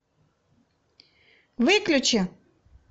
выключи